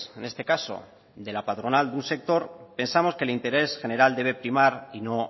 en este caso de la patronal de un sector pensamos que el interés general debe primar y no